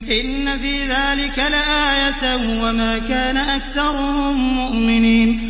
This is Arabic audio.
إِنَّ فِي ذَٰلِكَ لَآيَةً ۖ وَمَا كَانَ أَكْثَرُهُم مُّؤْمِنِينَ